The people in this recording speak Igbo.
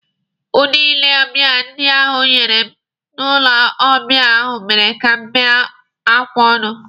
Udi ile ọbịa ndị ahụ nyere m n'ụlọ ọbịa ahụ mere ka m bee akwa ọṅụ.